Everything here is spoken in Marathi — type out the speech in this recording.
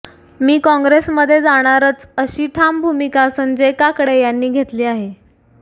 मी कॉंग्रेसमध्ये जाणारच अशी ठाम भूमिका संजय काकडे यांनी घेतली आहे